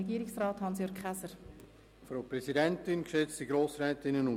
Hier gehöre ich wohl zu den Praktikern.